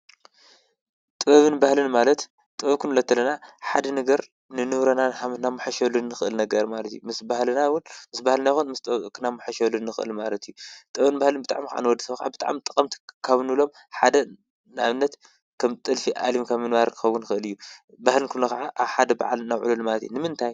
ጥበብን ባህልን ማለት ጥበብ ክንብሎ እንተለና ሓደ ነገር ንኑረ ንእናመሓይሸሉ ንኽእል ነገር ማለት እዩ። ምስ ባህልና እውን ምስ ባህልና ይኩን ምስ ጠበብና ክንመሓይሸሉ ንኽእል ማለት እዩ። ጥበብን ባህልን ብጣዕሚ ከዓ ንወዲ ሰብ ብጣዕሚ ጠቐምቲ ካብ እንብሎም ሓደ ንኣብነት ከም ጥልፊ ዓሊም ምንባር ክኸዉን ይኽእል እዩ። ባህል ክንብሎ ኸዓ ኣብ ሓደ በዓል ናብዕሉሉ ማለት እዩ። ንምንታይ?